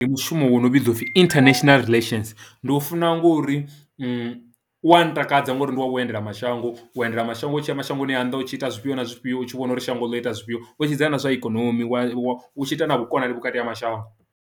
Ndi mushumo wo no vhidziwa u pfhi international relations ndi u funa ngori uwa ntakadza ngori ndi wa u endela mashango, u endela mashango u tshi ya mashangoni a nnḓa u tshi ita zwifhio na zwifhio u tshi vhona uri shango ḽo ita zwifhio. U tshi sedzana na zwa ikonomi wa wa u tshi ita na vhukonani vhukati ha mashango.